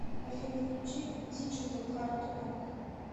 афина включи диджитал хардрок